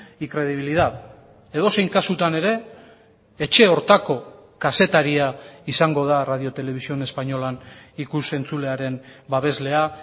y credibilidad edozein kasutan ere etxe horretako kazetaria izango da radio televisión españolan ikus entzulearen babeslea